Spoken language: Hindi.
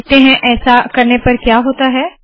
देखते है ऐसा करने पर क्या होता है